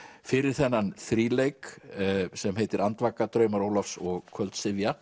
fyrir þennan þríleik sem heitir andvaka draumar Ólafs og